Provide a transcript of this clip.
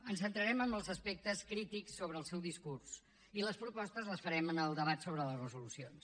ens centrarem en els aspectes crítics del seu discurs i les propostes les farem en el debat sobre les resolucions